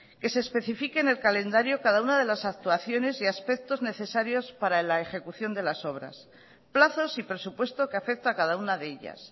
que se especifique en el calendario cada una de las actuaciones y aspectos necesarios para la ejecución de las obras plazos y presupuesto que afecta a cada una de ellas